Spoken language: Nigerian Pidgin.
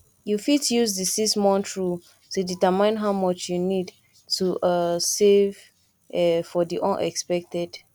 you fit use di 6month rule to determine how much you need to um save um for di unexpected